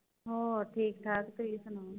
ਹੋਰ ਠੀਕ ਠਾਕ ਤੁਸੀਂ ਸੁਣਾਓ।